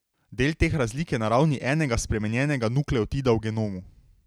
Del teh razlik je na ravni enega spremenjenega nukleotida v genomu.